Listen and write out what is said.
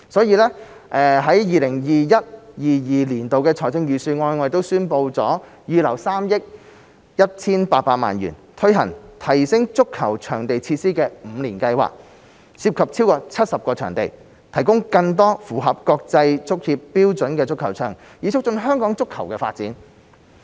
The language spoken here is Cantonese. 因此 ，2021-2022 年度財政預算案宣布預留3億 1,800 萬元，推行提升足球場設施五年計劃，涉及超過70個場地，提供更多符合國際足協標準的足球場，以促進香港足球發展。